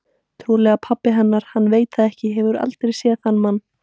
Trúlega pabbi hennar, hann veit það ekki, hefur aldrei séð þann mann.